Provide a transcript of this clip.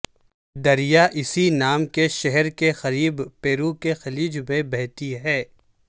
دریا اسی نام کے شہر کے قریب پیرو کے خلیج میں بہتی ہے